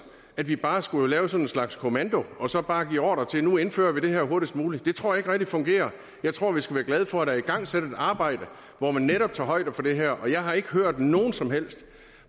at vi bare skulle lave sådan en slags kommando og så bare give ordre til at vi nu indfører det her hurtigst muligt det tror jeg ikke rigtig fungerer jeg tror vi skal være glade for at der er igangsat et arbejde hvor man netop tager højde for det her jeg har ikke hørt nogen som helst